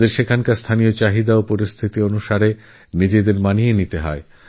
তাঁদের সেখানকার স্থানীয় প্রয়োজন পরিবেশ নিজেদেরই বিচার বিবেচনায় অনুভব করতে হয়